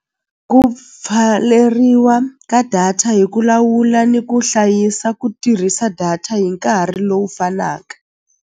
Ku pfaleriwa ka data hi ku lawula ni ku hlayisa ku tirhisa data hi nkarhi lowu fanaka.